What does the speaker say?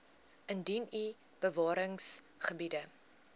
indien u bewaringsgebiede